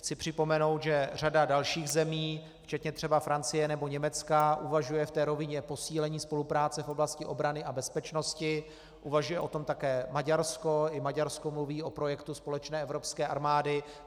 Chci připomenout, že řada dalších zemí včetně třeba Francie nebo Německa uvažuje v té rovině posílení spolupráce v oblasti obrany a bezpečnosti, uvažuje o tom také Maďarsko, i Maďarsko mluví o projektu společné evropské armády.